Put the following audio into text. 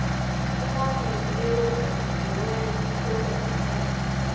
inaliti eyongezelelweyo yokugonyela